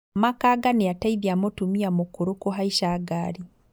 Makanga nĩateithia mũtumia mũkũrũ kũhaica ngari